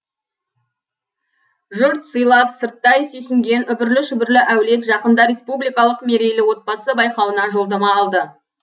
жұрт сыйлап сырттай сүйсінген үбірлі шүбірлі әулет жақында республикалық мерейлі отбасы байқауына жолдама алды